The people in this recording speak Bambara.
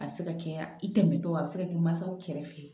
A bɛ se ka kɛ i tɛmɛtɔ a bɛ se ka kɛ mansaw kɛrɛfɛ